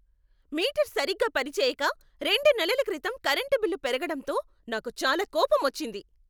Metre సరిగ్గా పనిచెయ్యక, రెండు నెలల క్రితం కరెంటు బిల్లు పెరగడంతో నాకు చాలా కోపమొచ్చింది.